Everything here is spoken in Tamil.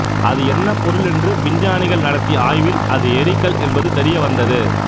அது என்ன பொருள் என்று விஞ்ஞானிகள் நடத்திய ஆய்வில் அது எரிகல் என்பது தெரிய வந்தது